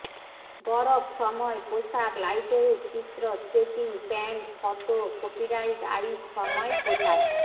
বরফ সময় পোশাক লাইটওয়েট চিত্র skating pant photo copyright ice সময় পোশাক